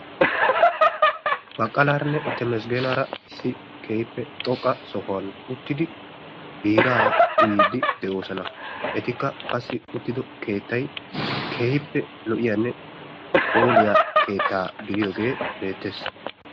Baqqalaaranne Temesgeenaara issi xoqqa sohuwan uttidi biiraa uyiydi de'oosona. Etikka qassi uttiddo keettay keehippe lo'iyanne phooliya keettaa be'iyogee beettees.